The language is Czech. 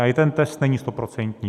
A i ten test není stoprocentní.